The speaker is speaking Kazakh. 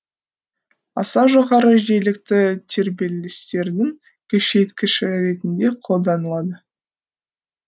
аса жоғары жиілікті тербелістердің күшейткіші ретінде қолданылады